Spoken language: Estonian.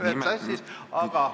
Jälle nimed sassis.